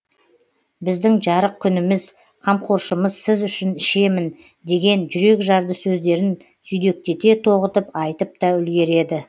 біздің жарық күніміз қамқоршымыз сіз үшін ішемін деген жүрекжарды сөздерін түйдектете тоғытып айтып та үлгереді